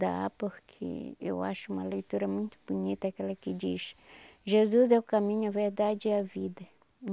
Dá, porque eu acho uma leitura muito bonita, aquela que diz, Jesus é o caminho, a verdade é a vida.